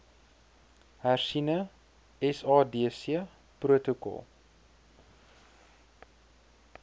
hersiene sadc protokol